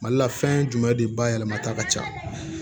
Mali la fɛn jumɛn de bayɛlɛmata ka ca